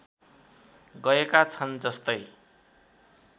गएका छन् जस्तै